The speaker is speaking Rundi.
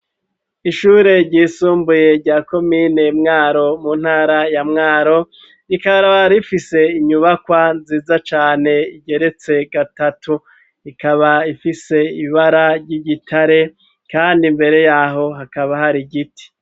Ishure ryisumbuye rya komine Mwaro, mu ntara ya Mwaro, rikaba rifise inyubakwa nziza cane igeretse gatatu. Ikaba ifise ibara ry'igitare kandi imbere yaho hakaba hari igiti.